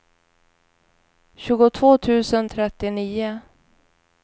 tjugotvå tusen trettionio